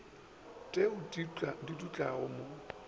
t eo di dutlago ba